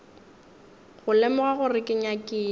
go lemoga gore ke nyakile